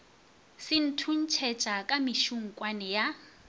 se thuntšhetša ka mešukutšwane ya